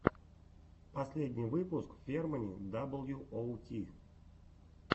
последний выпуск фермани даблюоути